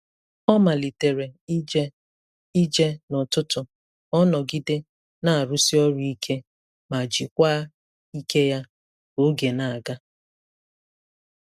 Ọ malitere ije ije n'ụtụtụ ka ọ nọgide na-arụsi ọrụ ike ma jikwaa ike ya ka oge na-aga.